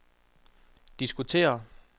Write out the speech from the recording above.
diskutere